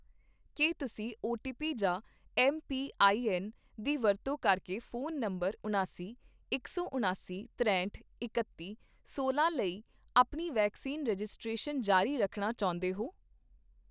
ਕੀ ਤੁਸੀਂ ਓਟੀਪੀ ਜਾਂ ਐੱਮਪੀਆਈਐੱਨ ਦੀ ਵਰਤੋਂ ਕਰਕੇ ਫ਼ੋਨ ਨੰਬਰ ਉਣਾਸੀ, ਇਕ ਸੌ ਉਣਾਸੀ, ਤਰੇਹਟ, ਇਕੱਤੀ, ਸੌਲਾਂ ਲਈ ਆਪਣੀ ਵੈਕਸੀਨ ਰਜਿਸਟ੍ਰੇਸ਼ਨ ਜਾਰੀ ਰੱਖਣਾ ਚਾਹੁੰਦੇ ਹੋ?